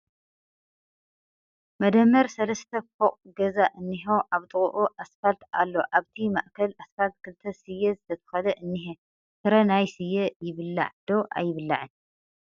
መደመር ሰለስተ ፎቕ ገዛ እንሄ ኣብ ጥቕኡ ኣስፋልቲ ኣሎ ኣብቲ ማእክል ኣስፋልቲ ክልተ ስየ ዝተተኽለ እንሄ ፡ ፍረ ናይ ስየ ይብላዕ ' ዶ ኣይብላዕን ?